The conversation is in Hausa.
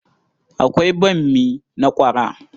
Akwai bammi na ƙwara.